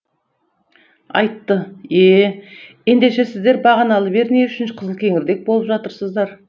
айтты е ендеше сіздер бағаналы бері не үшін қызылкеңірдек болып жатырсыздар